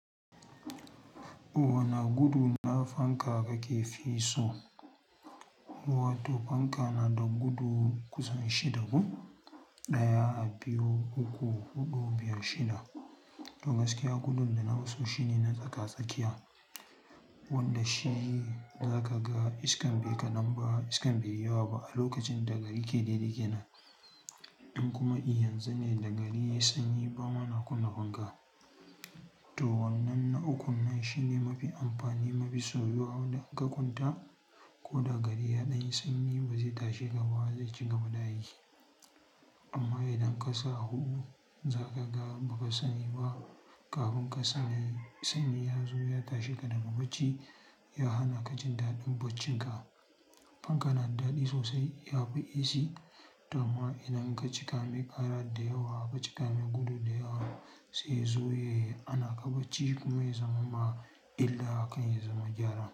Wana gudu na fanka kake fi so? Ko wato fanka na da gudu kusan shida ko? Ɗaya, biyu, uku, huɗu, biyar, shida. To gaskiya gudun da nafi so shine na tsaka-tsakiya, wanda shi za ka ga iskar bai ka nan ba iskar bai yi yawa ba a lokacin da gari ke dede kenan. In kuma in yanzu ne da gari ya sanyi ba ma na kunna fanka. To wannan na ukun nan shine mafi amfani, mafi soyuwa wanda in ka kwanta ko da gari ya ɗan sanyi ba zai tashi ka ba zai ci gaba da aiki. Amma idan ka sa a huɗu za ka ga ba ka sani ba kafin ka sani sanyi ya zo ya tashe ka daga bacci ya hana ka jin daɗin baccin ka. Fanka nada daɗi sosai, ya fi AC, amma idan ka cika mai ƙara da yawa, ka cika mai gudu da yawa sai ya zo ya yi hana ka bacci kuma ya zamam ma illa akan ya zama gyara.